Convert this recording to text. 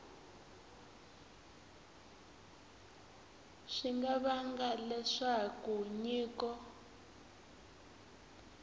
swi nga vanga leswaku nyiko